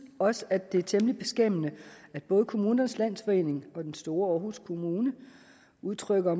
også at det er temmelig beskæmmende at både kommunernes landsforening og den store aarhus kommune udtrykker